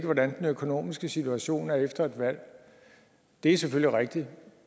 hvordan den økonomiske situation er efter et valg det er selvfølgelig rigtigt